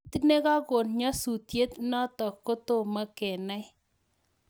Kiit nikakoon nyasutiet notok kotomo kenai